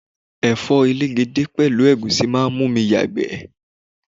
Ẹ̀fọ́ elegede pẹ̀lú egusi máa ń mú mi yagbe.